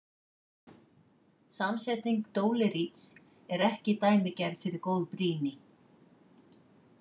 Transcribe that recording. Samsetning dóleríts er ekki dæmigerð fyrir góð brýni.